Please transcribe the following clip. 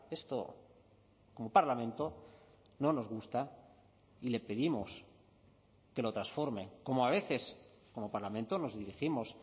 esto como parlamento no nos gusta y le pedimos que lo transforme como a veces como parlamento nos dirigimos